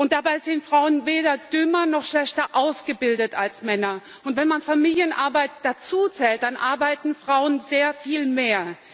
Dabei sind Frauen weder dümmer noch schlechter ausgebildet als Männer, und wenn man Familienarbeit dazuzählt, dann arbeiten Frauen sehr viel mehr.